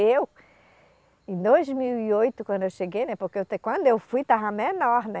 Eu, em dois mil e oito, quando eu cheguei, né, porque quando eu fui estava menor, né?